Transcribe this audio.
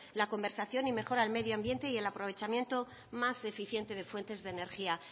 la conversación y mejora del medio ambiente y el aprovechamiento más eficiente de fuentes de energía